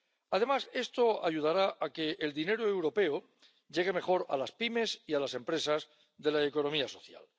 Además, esto ayudará a que el dinero europeo llegue mejor a las pymes y a las empresas de la economía social.